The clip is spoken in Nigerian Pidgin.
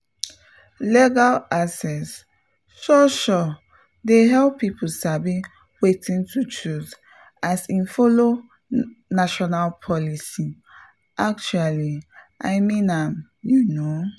legal access sure-sure dey help people sabi wetin to choose as e follow national policies — actually i mean am you know!